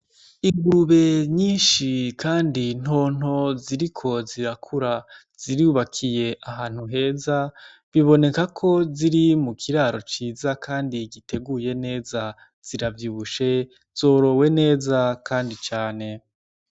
Ingurube nyinshi, kandi ntonto ziri ko zirakura zirubakiye ahantu heza biboneka ko ziri mu kiraro ciza, kandi giteguye neza ziravyushe zorowe neza, kandi cane.